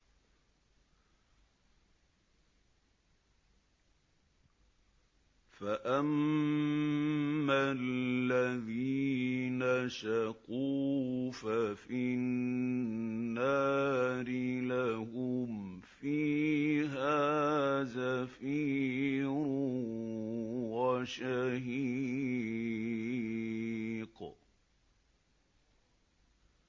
فَأَمَّا الَّذِينَ شَقُوا فَفِي النَّارِ لَهُمْ فِيهَا زَفِيرٌ وَشَهِيقٌ